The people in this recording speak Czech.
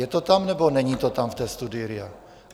Je to tam, nebo není to tam v té studii RIA?